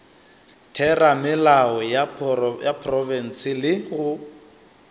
theramelao ya profense le go